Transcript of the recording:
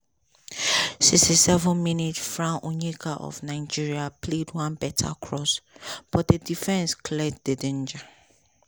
sixty seven minute frank onyeka of nigeria play one beta cross but di defence clears di danger.